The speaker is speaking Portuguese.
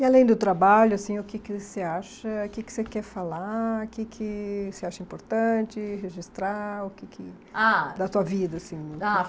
E além do trabalho assim, o que que você acha, o que que você quer falar, o que que você acha importante registrar o que que, ah, da sua vida assim? Ah